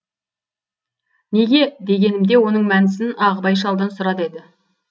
неге дегенімде оның мәнісін ағыбай шалдан сұра деді